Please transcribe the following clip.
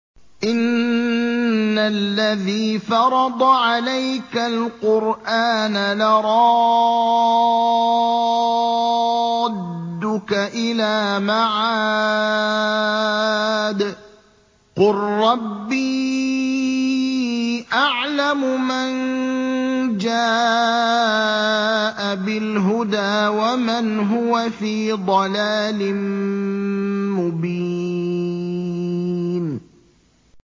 إِنَّ الَّذِي فَرَضَ عَلَيْكَ الْقُرْآنَ لَرَادُّكَ إِلَىٰ مَعَادٍ ۚ قُل رَّبِّي أَعْلَمُ مَن جَاءَ بِالْهُدَىٰ وَمَنْ هُوَ فِي ضَلَالٍ مُّبِينٍ